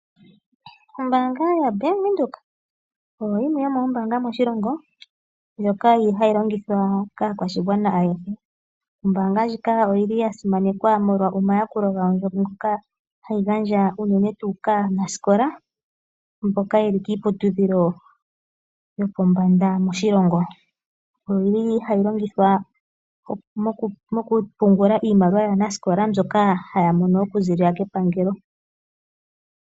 Oombaanga yoBank Windhoek oyo yimwe yomoombaanga moshilongo ndhoka yi li longithwa kaakwashigwana ayehe. Ombaanga ndjika oyi li ya simanekwa molwa omayakulo ngoka hayi gandja unene tuu kaanasikola mboka ye li kiiputudhilo yopombanda moshilongo. Oyi li hayi longithwa mokupungula iimaliwa yaanasikola mbyoka haya mono okuziilila kepangelo.